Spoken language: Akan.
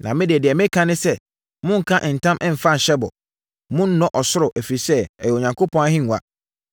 Na me deɛ, deɛ mereka ne sɛ: Monnka ntam mfa nhyɛ bɔ. Monnnɔ ɔsoro, ɛfiri sɛ, ɛyɛ Onyankopɔn ahennwa.